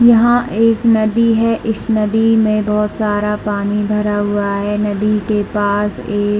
यहाँ एक नदी है इस नदी में बहुत सारा पानी भरा हुआ है नदी के पास एक--